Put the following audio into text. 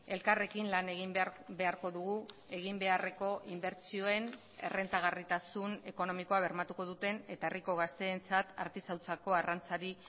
elkarrekin lan egin beharko dugu eginbeharreko inbertsioen errentagarritasun ekonomikoa bermatuko duten eta herriko gazteentzat artisautzako arrantzari